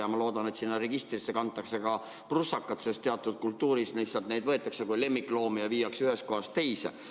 Ja ma loodan, et sinna registrisse kantakse ka prussakad, sest teatud kultuuris suhtutakse neissegi kui lemmikloomadesse ja viiakse ühest kohast teise.